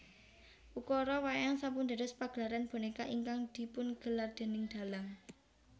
Ukara wayang sampun dados pagelaran bonéka ingkang dipungelar déning dhalang